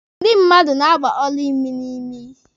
Ndị mmadụ na-agba ọla imi n'imi.